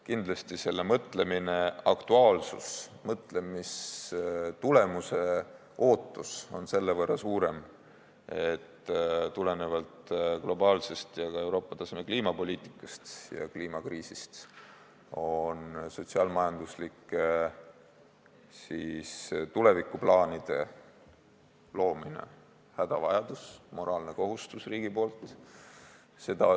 Kindlasti, selle mõtlemise aktuaalsus ja mõtlemistulemuse ootus on selle võrra suurem, et tulenevalt globaalsest ja ka Euroopa taseme kliimapoliitikast ja kliimakriisist on sotsiaal-majanduslike tulevikuplaanide loomine hädavajadus, riigi moraalne kohustus.